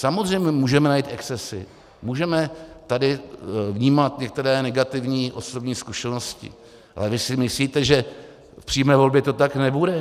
Samozřejmě můžeme najít excesy, můžeme tady vnímat některé negativní osobní zkušenosti, ale vy si myslíte, že v přímé volbě to tak nebude?